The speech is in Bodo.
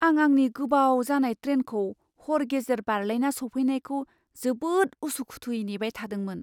आं आंनि गोबाव जानाय ट्रेनखौ हर गेजेर बारलायना सौफैनायखौ जोबोद उसु खुथुयै नेबाय थादोंमोन।